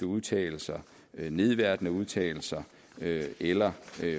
udtalelser nedværdigende udtalelser eller